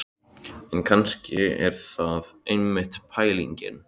En kannski er það einmitt pælingin.